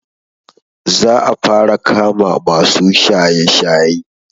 Za a fara kama masu shaye-shaye.